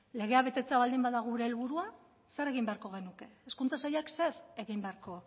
legea betetzea baldin bada gure helburua zer egin beharko genuke hezkuntza sailak zer egin beharko